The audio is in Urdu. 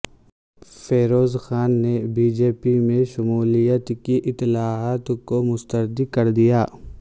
فیروز خاں نے بی جے پی میں شمولیت کی اطلاعات کو مسترد کردیا